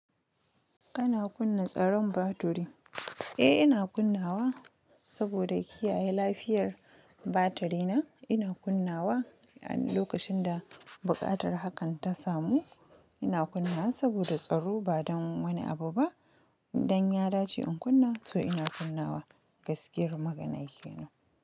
Ana kunna tsaron batiri? Eh ina kunnawa saboda kiyaye lafiyar batiri na, ina kunnawa a lokacin da buƙatar hakan ta samu ina kunna saboda tsaro ba don wani abu ba. Dan ya dace in kunna ina kunna wa, gaskiyar magana kenan.